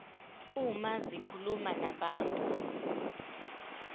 uma zikhuluma nabantu